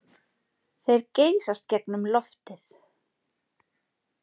Þeir geysast gegnum loftið.